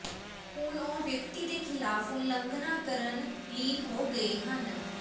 ਹੁਣ ਉਹ ਵਿਅਕਤੀ ਦੇ ਖਿਲਾਫ ਉਲੰਘਣਾ ਕਰਨ ਲੀਨ ਹੋ ਗਏ ਹਨ